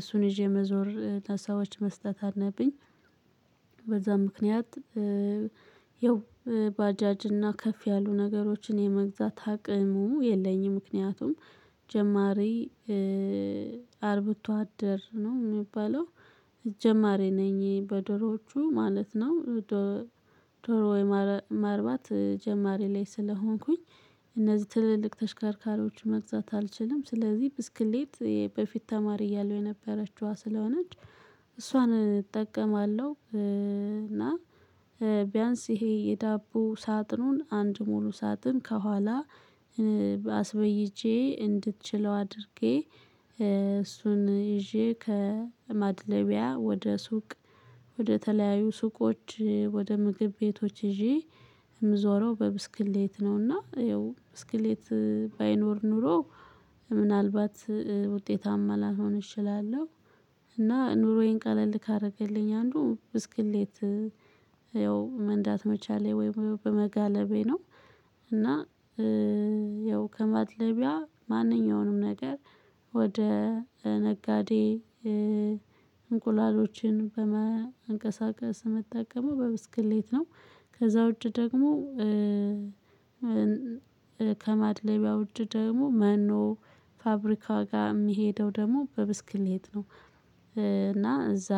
እሱን ይዤ መዞር ለሰዎች መስጠት አለብኝ። በዛ ምክንያት ያው ባጃጅና ከፍ ያሉ ነገሮችን የመግዛት አቅሙ የለኝም ምክንያቱም ጀማሪ አርብቶ አደር ነው የሚባለው ጀማሪ ነኝ በዶሮዎቹ ማለት ነው። ዶሮ ወይ ማርባት ጀማሪ ላይ ስለሆንኩኝ እነዚህ ትልልቅ ተሽከርካሪዎች መግዛት አልችልም። ስለዚህ ብስክሌት በፊት ተማሪ እያለሁ የነበረችዋ ስለሆነች እሷን እጠቀማለሁ። እና ቢያንስ ይሄ የዳቦ ሳጥኑን አንድ ሙሉ ሳጥን ከኋላ አስበይጄ እንድትችለው አድርጌ። እሱን ይዤ ከማድለቢያ ወደ ሱቅ ወደ ተለያዩ ሱቆች ወደ ምግብ ቤቶች ይዤ የምዞረው በብስክሌት ነውና ያው ብስክሌት ባይኖር ኖሮ ምናልባት ውጤታማ ላልሆን እችላለሁ። እና ኑሮዬን ቀለል ካደረገልኝ አንዱ ብስክሌት ያው መንዳት መቻሌ ወይም በመጋለቤ ነው። እና ያው ከማድለቢያ ማንኛውንም ነገር ወደ ነጋዴ እንቁላሎችን በማንቀሳቀስ ምጠቀመው በብስክሌት ነው። ከዛ ውጪ ደግሞ ከማድለቢያ ውጪ ደግሞ መኖ ፋብሪካ ጋር የምሄደው ደግሞ በብስክሌት ነው። እና እዛ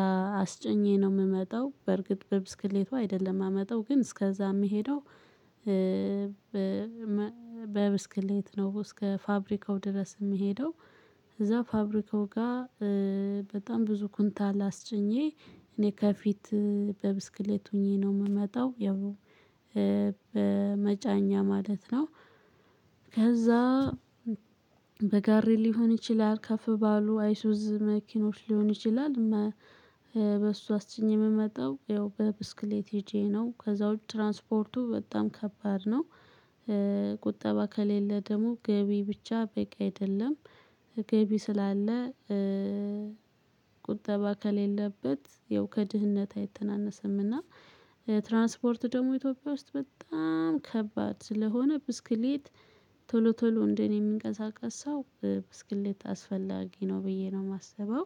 አስጭኜ ነው የምመጣው በርግጥ በብስክሌቱ አይደለም የማመጣው ግን እስከዛ የምሄደው በብስክሌት ነው እስከ ፋብሪካው ድረስ የምሄደው። እዛ ፋብሪካው ጋር በጣም ብዙ ኩንታል አላስጭኜ እኔ ከፊት በብስክሌት ሆኜ ነው የምመጣው ያው በመጫኛ ማለት ነው። ከዛ በጋሬ ሊሆን ይችላል ከፍ ባሉ አይሱዝ መኪኖች ሊሆን ይችላል። በሱ አስጭኘ የምመጣው ያው በብስክሌት ሄጄ ነው ከዛው ትራንስፖርቱ በጣም ከባድ ነው። ቁጠባ ከሌለ ደግሞ ገቢ ብቻ በቂ አይደለም። ገቢ ስላለ ቁጠባ ከሌለበት ያው ከድህነት አይተናነስምና። ትራንስፖርት ደግሞ ኢትዮጵያ ውስጥ በጣም ከባድ ስለሆነ ብስክሌት ቶሎ ቶሎ እንደኔ የሚንቀሳቀስ ሰው ብስክሌት አስፈላጊ ነው ብዬ ነው የማስበው።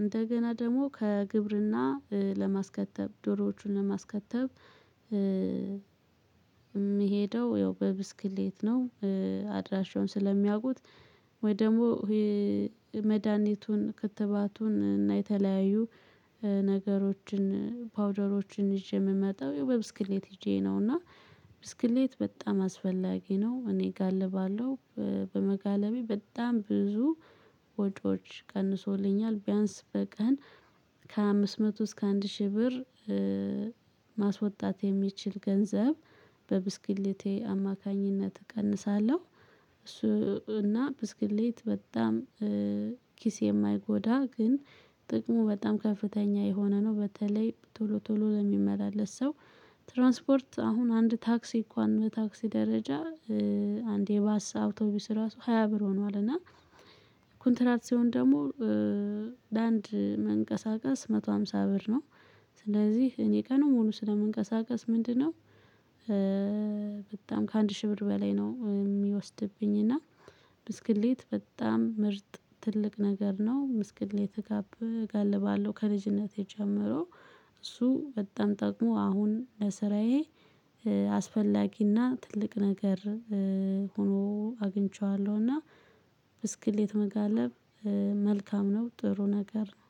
እንደገና ደግሞ ከግብርና ለማስከተብ ዶሮዎቹን ለማስከተብ የምሄደው ያው በብስክሌት ነው። አድራሻውን ስለሚያውቁት ወይ ደግሞ መድሃኒቱን ክትባቱን እና የተለያዩ ነገሮችን ፓውደሮችን ይዤ የምመጣው ያው በብስክሌት ሄጄ ነውና። ብስክሌት በጣም አስፈላጊ ነው እኔ እጋልባለሁ። በመጋለቤ በጣም ብዙ ወጪዎች ቀንሶልኛል ቢያንስ በቀን ከአምስት መቶ እስከ አንድ ሺህ ብር ማስወጣት የሚችል ገንዘብ በብስክሌቴ አማካኝነት እቀንሳለሁ። እሱ እና ብስክሌት በጣም ኪስ የማይጎዳ ግን ጥቅሙ በጣም ከፍተኛ የሆነ ነው። በተለይ ቶሎ ቶሎ ለሚመላለስ ሰው ትራንስፖርት አሁን አንድ ታክሲ እንኳን በታክሲ ደረጃ አንዴ ባስ አውቶቡስ ራሱ ሃያ ብር ሆኗል። እና ኮንትራት ሲሆን ደግሞ ለአንድ መንቀሳቀስ መቶ ሃምሳ ብር ነው። ስለዚህ እኔ ቀኑን ሙሉ ስለመንቀሳቀስ ምንድነው? በጣም ከአንድ ሺህ ብር በላይ ነው የሚወስድብኝ እና ብስክሌት በጣም ምርጥ ትልቅ ነገር ነው። ብስክሌት እጋልባለሁ ከልጅነቴ ጀምሮ እሱ በጣም ጠቅሞ አሁን ለስራዬ አስፈላጊና ትልቅ ነገር ሆኖ አግኝቼዋለሁና። ብስክሌት መጋለብ መልካም ነው ጥሩ ነገር ነው።